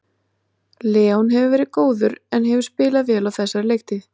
Leon hefur verið góður en hefur spilað vel á þessari leiktíð.